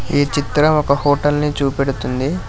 ఈ చిత్రం ఒక హోటల్ ని చూపెడుతుంది.